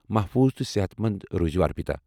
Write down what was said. محفوٗظ تہٕ صحت مند روٗزیو ارپیتا۔